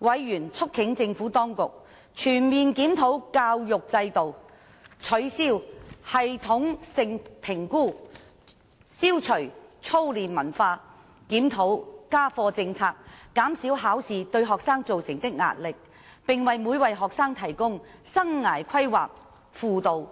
委員促請政府當局全面檢討教育制度、取消系統性評估、消除操練文化、檢討家課政策、減少考試對學生造成的壓力，並為每位學生提供生涯規劃輔導，